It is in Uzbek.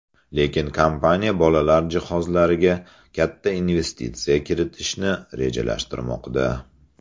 Lekin kompaniya bolalar jihozlariga katta investitsiya kiritishni rejalashtirmoqda.